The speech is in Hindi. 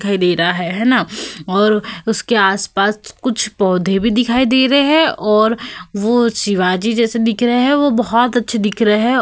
दिखाई दे रहा है है न और उसके आस-पास कुछ पौधें भी दिखाई दे रहे हैं और वो शिवाजी जैसे दिख रहे हैं। वो बहोत अच्छे दिख रहे हैं।